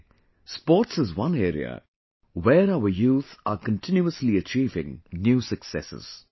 Today, sports is one area where our youth are continuously achieving new successes